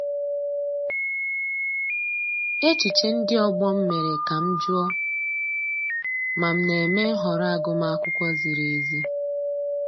Echiche ndị ọgbọ m mere ka m jụọ ma m na-eme nhọrọ agụmakwụkwọ ziri ezi.